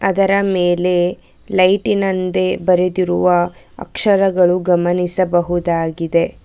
ಅದರ ಮೇಲೆ ಲೈಟಿನಂದೆ ಬರೆದಿರುವ ಅಕ್ಷರಗಳನ್ನು ಗಮನಿಸಬಹುದಾಗಿದೆ.